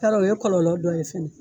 Yarɔ o ye kɔlɔlɔ dɔ ye fana.